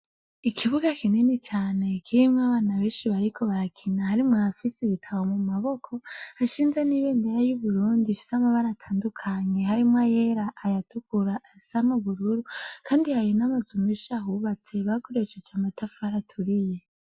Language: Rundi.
Ikibuga kinini cane kirimwo abana benshi bariko barakina harimwo abafise ibitabo mumaboko hashinze n'ibendera y'Uburundi ifise amabara atandukanye harimwo ayera , ayatukura , ayasa n'ubururu, kandi hari n'amazu menshi ahubatse bakoresheje amatafari aturiye .